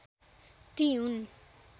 ती हुन्